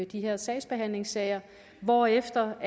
de her sagsbehandlingssager hvorefter